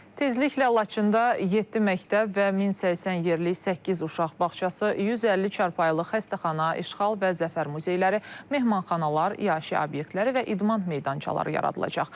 Tezliklə Laçında 7 məktəb və 1080 yerlik 8 uşaq bağçası, 150 çarpayılıq xəstəxana, işğal və zəfər muzeyləri, mehmanxanalar, yaşı obyekləri və idman meydançaları yaradılacaq.